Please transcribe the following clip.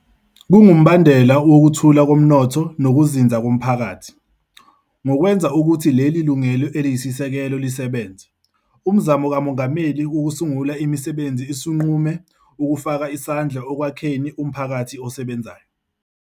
Kungumbandela wokukhula komnotho nokuzinzako mphakathi. Ngokwenza ukuthi leli lungelo eliyisisekelo lisebenze, Umzamo kaMongameli Wokusungula Imisebenzi usunqume ukufaka isandla ekwakheni umphakathi osebenzayo.